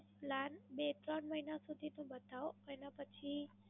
બે ત્રણ મહિના સુધી નું બતાવો, એના પછી